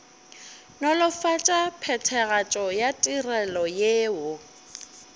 nolofatša phethagatšo ya ditirelo yeo